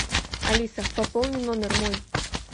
алиса пополни номер мой